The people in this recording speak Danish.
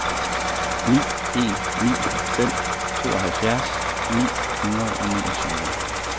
ni en ni fem tooghalvfjerds ni hundrede og niogtyve